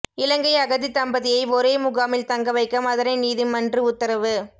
இலங்கை அகதித் தம்பதியை ஒரே முகாமில் தங்கவைக்க மதுரை நீதிமன்று உத்தரவு